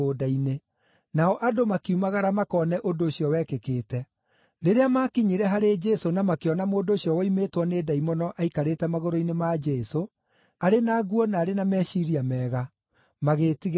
nao andũ makiumagara makone ũndũ ũcio wekĩkĩte. Rĩrĩa maakinyire harĩ Jesũ na makĩona mũndũ ũcio woimĩtwo nĩ ndaimono aikarĩte magũrũ-inĩ ma Jesũ, arĩ na nguo na arĩ na meciiria mega, magĩĩtigĩra mũno.